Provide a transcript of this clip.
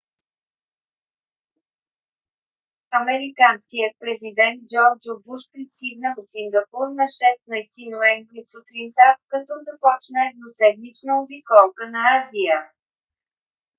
американският президент джордж у. буш пристигна в сингапур на 16 ноември сутринта като започна едноседмична обиколка на азия